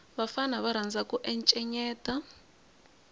vafana va rhandza ku encenyeta